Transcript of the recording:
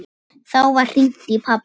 Þá var hringt í pabba.